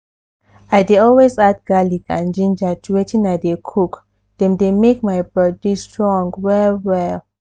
i dey always add garlic and ginger to wetin i dey cook dem dey make my body strong well well.